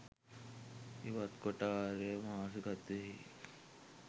ඉවත් කොට ආර්ය මානසිකත්වයෙහි